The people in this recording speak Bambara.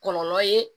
Kɔlɔlɔ ye